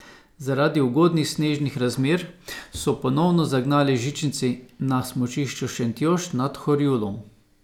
Zaradi ugodnih snežnih razmer so ponovno zagnali žičnici na smučišču Šentjošt nad Horjulom.